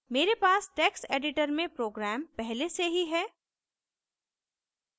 मेरे पास text editor में program पहले से ही है